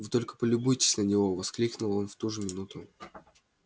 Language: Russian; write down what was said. вы только полюбуйтесь на него воскликнул он в ту же минуту